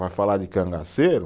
Vai falar de cangaceiro?